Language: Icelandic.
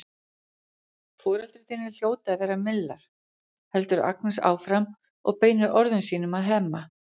Foreldrar þínir hljóta að vera millar, heldur Agnes áfram og beinir orðum sínum til Hemma.